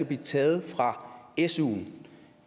blive taget fra suen